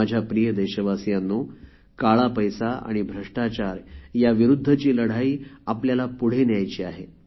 माझ्या प्रिय देशवासियांनो काळा पैसा आणि भ्रष्टाचार याविरुद्धची लढाई आपल्याला पुढे न्यायची आहे